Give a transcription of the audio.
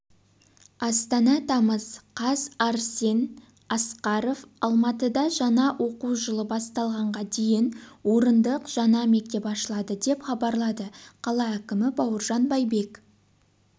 астана тамыз қаз арсен асқаров алматыда жаңа оқу жылы басталғанға дейін орындық жаңа мектеп ашылады деп хабарлады қала әкімі бауыржан байбек